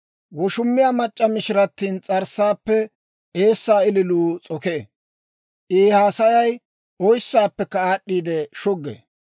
Woshumiyaa mac'c'a mishirati ins's'arssaappe eessaa ililuu s'okee; I haasayay oyssaappekka aad'd'i shuggee.